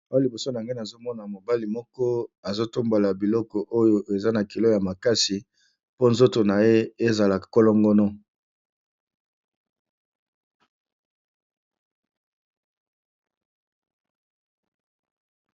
Awa liboso nange ne azomona mobali moko azotombola biloko oyo eza na kilo ya makasi po nzoto na ye ezala kolongono.